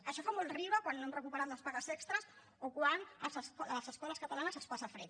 això fa molt riure quan no han recuperat les pagues extres o quan a les escoles catalanes es passa fred